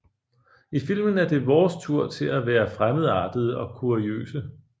I filmen er det vores tur til at være fremmedartede og kuriøse